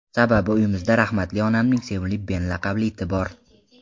Sababi uyimizda rahmatli onamning sevimli Ben laqabli iti bor.